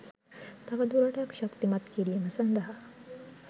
තවදුරටත් ශක්තිමත් කිරීම සඳහා